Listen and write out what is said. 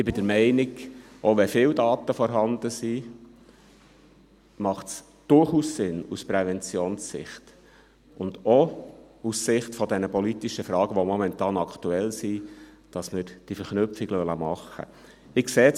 Ich bin der Meinung, auch wenn viele Daten vorhanden sind, macht es aus Präventionssicht und auch aus Sicht der politischen Fragen, die momentan aktuell sind, durchaus Sinn, dass wir diese Verknüpfung machen lassen.